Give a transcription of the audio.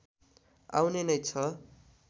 आउने नै छ